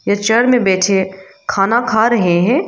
Chair में बैठे खाना खा रहे हैं।